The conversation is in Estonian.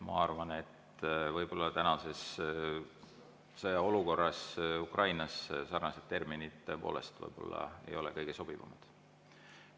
Ma arvan, et võib-olla tänast sõjaolukorda Ukrainas arvestades ei ole sellised terminid kõige sobivamad.